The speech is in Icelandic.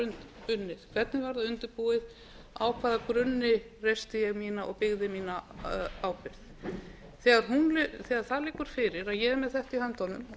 hvernig það var undirbúið á hvaða grunni reisti ég og byggði ég mína ábyrgð þegar það liggur fyrir að ég er með þetta i höndunum og